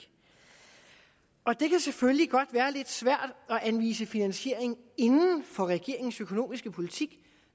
det kan selvfølgelig godt være lidt svært anvise finansiering inden for regeringens økonomiske politik